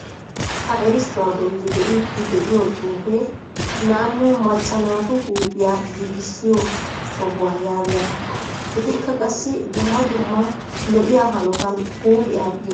Ha erissuwaa bolli be'iidi de'iyoo xuufee naanu macca naatu huuphphiyaa giigissiyoo sohuwaa yaagiyaagaa. etikka qassi dumma dumma lo"iyaa hanotan huuphphiyaa giigisoosona.